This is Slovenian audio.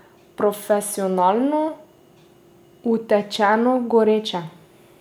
Profesionalno, utečeno, goreče.